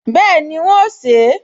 Bẹ́ẹ̀ni, n óò sè é